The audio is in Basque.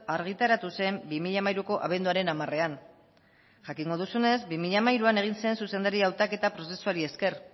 argitaratu zen bi mila hamairuko abenduaren hamarean jakingo duzunez bi mila hamairuan egin zen zuzendari hautaketa prozesuari esker